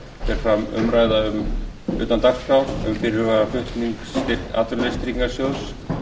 fer fram umræða utan dagskrár um fyrirhugaðan flutning atvinnuleysistryggingasjóðs